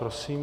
Prosím.